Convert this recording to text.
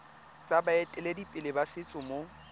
tsa baeteledipele ba setso mo